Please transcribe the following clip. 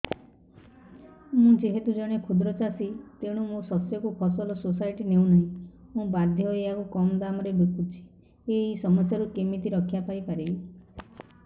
ମୁଁ ଯେହେତୁ ଜଣେ କ୍ଷୁଦ୍ର ଚାଷୀ ତେଣୁ ମୋ ଶସ୍ୟକୁ ଫସଲ ସୋସାଇଟି ନେଉ ନାହିଁ ମୁ ବାଧ୍ୟ ହୋଇ ଏହାକୁ କମ୍ ଦାମ୍ ରେ ବିକୁଛି ଏହି ସମସ୍ୟାରୁ କେମିତି ରକ୍ଷାପାଇ ପାରିବି